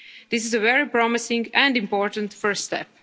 its Member States. This is a very promising and important